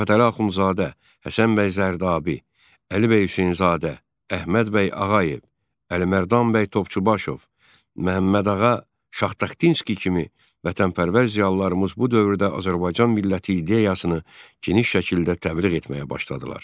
Mirzə Fətəli Axundzadə, Həsən bəy Zərdabi, Əli bəy Hüseynzadə, Əhməd bəy Ağayev, Əlimərdan bəy Topçubaşov, Məmmədağa Şahtaxtinski kimi vətənpərvər ziyalılarımız bu dövrdə Azərbaycan milləti ideyasını geniş şəkildə təbliğ etməyə başladılar.